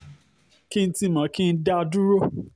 kí n ti mọ̀ kí n dá a dúró o